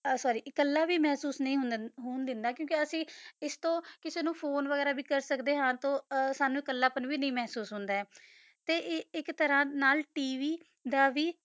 ਹ ਸੋਰ੍ਰੀ ਤਾ ਕਲਾ ਵੀ ਮਹਸੂਸ ਨਹੀ ਹੋਣ ਡੰਡਾ ਕੁ ਕਾ ਅਸੀਂ ਆਸ ਤੋ ਕਾਸਾ ਨੂ ਫੋਨੇ ਵਗੈਰਾ ਕਰਦਾ ਆ ਹ ਸਨੋ ਕਲਾ ਆਂ ਵੀ ਮਹਸੂਸ ਨਹੀ ਹੋਂਦਾ ਤਾ ਏਕ ਤਾਰਾ ਨਾਲ ਤਵ ਦਾ ਵੀ